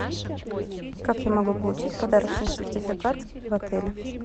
как я могу получить подарочный сертификат в отеле